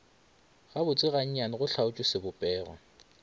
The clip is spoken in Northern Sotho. gabotse gannyane go hlaotšwe sebopego